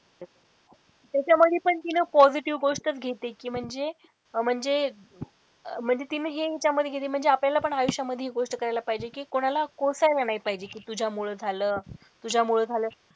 त्याच्यामध्ये पण तिने positive गोष्टच घेतली कि म्हणजे म्हणजे म्हणजे तिने हे त्यामध्ये घेते म्हणजे आपल्याला पण आयुष्यामध्ये हि गोष्ट कळायला पाहिजे कि कोणाला कोसला नाही पाहिजे कि तुझ्यामुळे झालं तुझ्यामुळे झालं.